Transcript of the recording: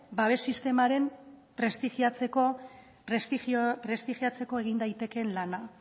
babes sistema prestigiatzeko egin daitekeen lana